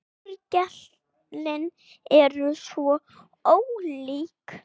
Orgelin eru svo ólík.